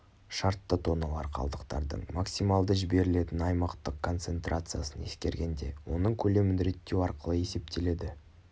шартты тонналар қалдықтардың максималды жіберілетін аймақтық концентрациясын ескергенде оның көлемін реттеу арқылы есептеледі